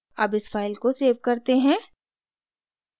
अब इस फाइल को सेव करते हैं